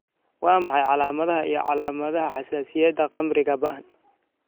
Waa maxay calaamadaha iyo calaamadaha xasaasiyadda khamriga ba'an?